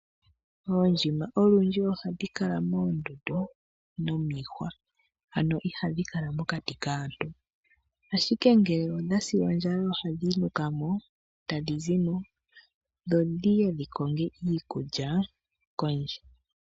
Oondjima olundji ohadhi kala moondundu nomiihwa, ano ihadhi kala mokati kaantu. Ngele odha si ondjala ohadhi nuka mo e ta dhi zi mo, dhi ye dhi konge iikulya kondje.